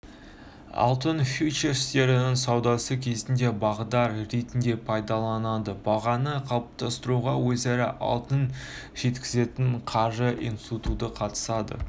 алтын фьючерстерінің саудасы кезінде бағдар ретінде пайдаланылады бағаны қалыптастыруға өзара алтын жеткізетін қаржы институты қатысады